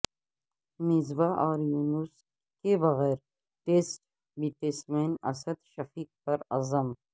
مصباح اور یونس کے بغیر ٹیسٹ بیٹسمین اسد شفیق پر عزم